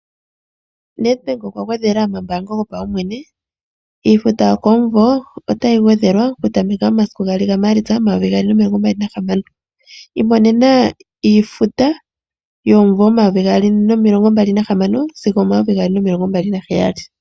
NedBank okwa gwedhela omambaango gopaumwene. Iifuta yokomumvo otayi gwedhelwa kutameka momasiku gaali gaMaalitsa omayovi gaali nomilongo mbali nahamano. Imonena iifuta yomumvo omayovi gaali nomilongo mbali nahamano sigo omayovi gaali nomilongo mbali naheyali.